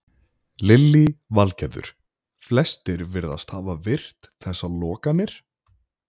Lillý Valgerður: Flestir virðast hafa virt þessar lokanir?